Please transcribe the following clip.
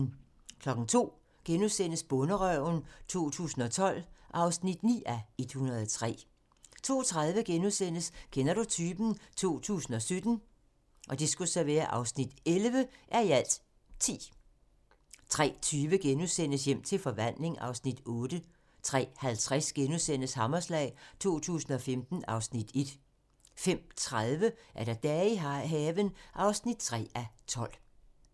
02:00: Bonderøven 2012 (9:103)* 02:30: Kender du typen? 2017 (11:10)* 03:20: Hjem til forvandling (Afs. 8)* 03:50: Hammerslag 2015 (Afs. 1)* 05:30: Dage i haven (3:12)